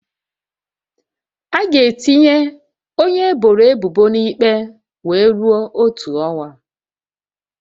A ga-etinye onye eboro ebubo na ikpe wee rue otu ọnwa